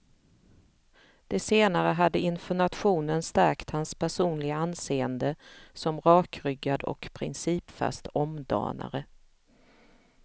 Det senare hade inför nationen stärkt hans personliga anseende som rakryggad och principfast omdanare.